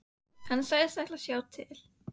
Hann sagðist ætla að sjá til.